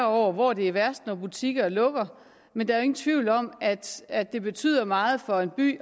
over hvor det er værst når butikker lukker men der er ingen tvivl om at at det betyder meget for en by